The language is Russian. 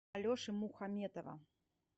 алеши мухаметова